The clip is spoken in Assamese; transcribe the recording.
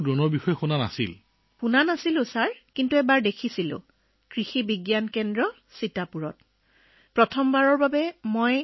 ছাৰ আগতে কেতিয়াও শুনা নাছিলোঁ কিন্তু এবাৰ এনেকৈ দেখিছিলোঁ সীতাপুৰত থকা কৃষি বিজ্ঞান কেন্দ্ৰত আমি প্ৰথমবাৰৰ বাবে ড্ৰোন দেখিছিলো